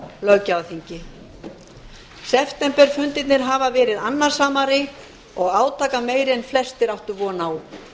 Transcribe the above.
löggjafarþingi septemberfundirnir hafa verið annasamari og átakameiri en flestir áttu von á